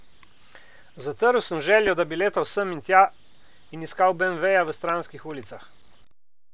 Zatrl sem željo, da bi letal sem in tja in iskal beemveja v stranskih ulicah.